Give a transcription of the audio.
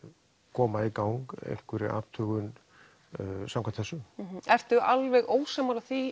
koma í gang einhverri athugun samkvæmt þessu ertu alveg ósammála því